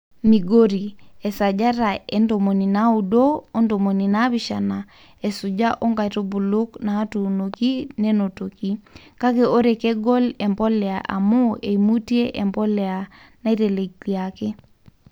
Migori, esajata e 90 o 70 esuja oo nkaitubu naatuunoki nenotoki, kake ore kegol empolea amu eimutie empolea naiteleliaki.